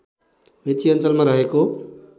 मेची अञ्चलमा रहेको